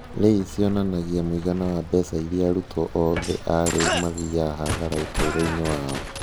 LAYS cionanagia mũigana wa mbeca iria arutwo othe a reu mathiaga hathara ũtũũro-inĩ wao.